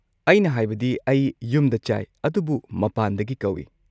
ꯑꯩꯅ ꯍꯥꯏꯕꯗꯤ, ꯑꯩ ꯌꯨꯝꯗ ꯆꯥꯏ ꯑꯗꯨꯕꯨ ꯃꯄꯥꯟꯗꯒꯤ ꯀꯧꯏ꯫